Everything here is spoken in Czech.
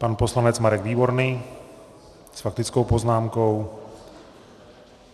Pan poslanec Marek Výborný s faktickou poznámkou.